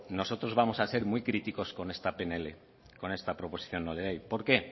nosotros vamos a ser muy críticos con esta pnl con esta proposición no de ley por qué